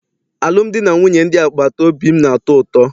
Alụmdi na nwunye ndị agbata obi m na-atọ ụtọ.